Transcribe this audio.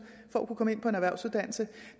for at komme ind på en erhvervsuddannelse